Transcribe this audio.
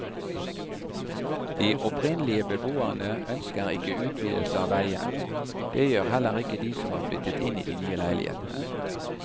De opprinnelige beboerne ønsker ikke utvidelse av veien, det gjør heller ikke de som har flyttet inn i de nye leilighetene.